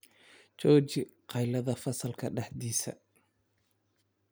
Jooji qaylada fasalka dhexdiisa